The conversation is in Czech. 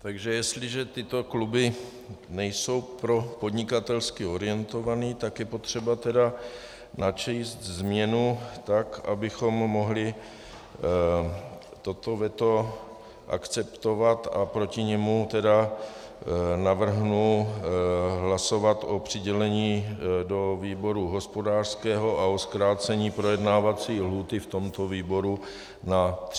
Takže jestliže tyto kluby nejsou propodnikatelsky orientované, tak je potřeba teda načíst změnu tak, abychom mohli toto veto akceptovat, a proti němu teda navrhnu hlasovat o přidělení do výboru hospodářského a o zkrácení projednávací lhůty v tomto výboru na 30 dnů.